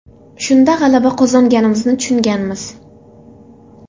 Shunda g‘alaba qozonganimizni tushunganmiz.